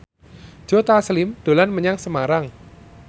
Joe Taslim dolan menyang Semarang